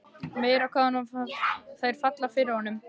Meira hvað þær falla fyrir honum!